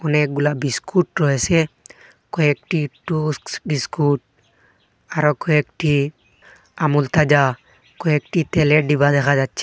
অনেকগুলা বিস্কুট রয়েছে কয়েকটি টোস্টস বিস্কুট আরো কয়েকটি আমূল তাজা কয়েকটি তেলের ডিবা দেখা যাচ্ছে।